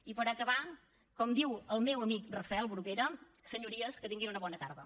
i per acabar com diu el meu amic rafel bruguera senyories que tinguin una bona tarda